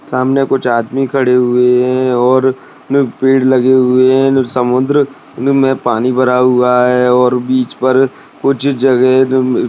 सामने कुछ आदमी खडे हुए है और पेड़ लगे हुए है समुद्र में पानी भरा हुआ है और बीच पर कुछ जगह --